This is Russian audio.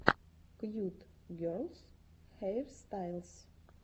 кьют герлс хейрстайлс